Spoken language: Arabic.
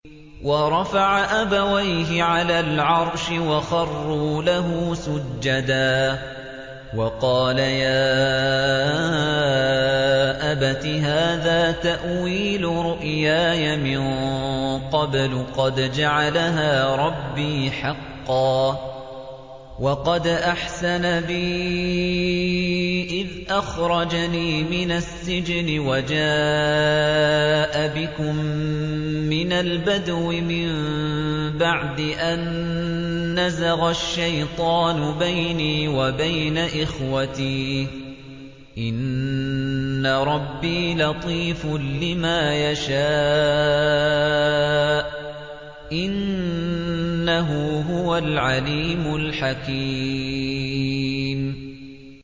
وَرَفَعَ أَبَوَيْهِ عَلَى الْعَرْشِ وَخَرُّوا لَهُ سُجَّدًا ۖ وَقَالَ يَا أَبَتِ هَٰذَا تَأْوِيلُ رُؤْيَايَ مِن قَبْلُ قَدْ جَعَلَهَا رَبِّي حَقًّا ۖ وَقَدْ أَحْسَنَ بِي إِذْ أَخْرَجَنِي مِنَ السِّجْنِ وَجَاءَ بِكُم مِّنَ الْبَدْوِ مِن بَعْدِ أَن نَّزَغَ الشَّيْطَانُ بَيْنِي وَبَيْنَ إِخْوَتِي ۚ إِنَّ رَبِّي لَطِيفٌ لِّمَا يَشَاءُ ۚ إِنَّهُ هُوَ الْعَلِيمُ الْحَكِيمُ